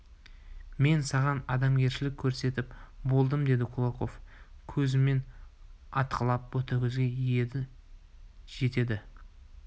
мен саған адамгершілік көрсетіп болдым деді кулаков көзімен атқылап ботагөзге енді жетеді